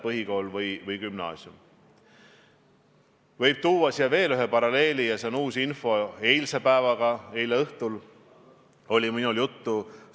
Kui küsimus on, miks me ei ole selle ärajätmist välja kuulutanud, siis konkreetne vastus on, et kui oleks eriolukord, siis me tõesti saaksime öelda, et avalike koosolekute ja muude avalike ürituste pidamisel on konkreetsed piirangud.